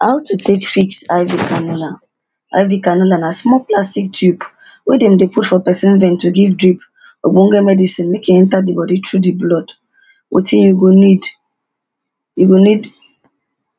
how to take fix IV canola IV canola na small plastic tube wey them de put for person vein to give drip okponge medicine make e enter the body through the blood. Wetin you go need, you go need